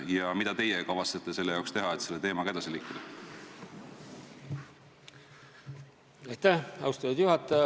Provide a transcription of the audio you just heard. Ja mida teie kavatsete teha, et selle teemaga edasi liikuda?